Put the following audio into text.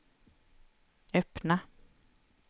öppna